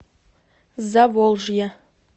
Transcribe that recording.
заволжье